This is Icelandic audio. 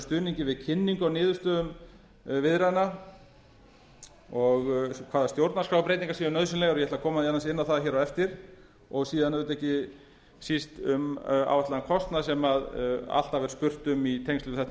stuðningi við kynningu á niðurstöðum viðræðna og hvaða stjórnarskrárbreytingar séu nauðsynlegar ég ætla að koma aðeins inn á það á eftir og síðan auðvitað ekki síst um ástand kostnað sem alltaf er spurt um í tengslum við þetta